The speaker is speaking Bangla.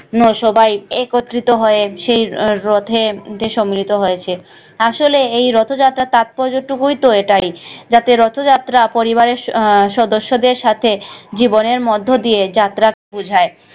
সবাই একত্রিত হয়ে সেই আহ রথে সম্মিলিত হয়েছে। আসলে এই রথযাত্রার তাৎপর্য টুকুই তো এটাই যাতে রথ যাত্রা পরিবারের আহ সদস্য দের সাথে জীবনের মধ্য দিয়ে যাত্রা বুঝায়।